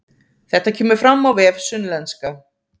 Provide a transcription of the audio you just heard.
Þetta kemur fram á vef Sunnlenska